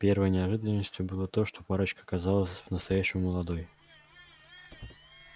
первой неожиданностью было то что парочка оказалась по-настоящему молодой